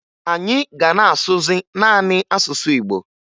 Anyị ga na-asụzị naanị asụsụ Igbo